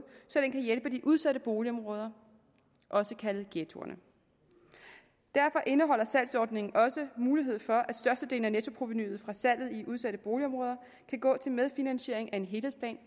så den kan hjælpe de udsatte boligområder også kaldet ghettoerne derfor indeholder salgsordningen også mulighed for at størstedelen af nettoprovenuet fra salget i udsatte boligområder kan gå til medfinansiering af en helhedsplan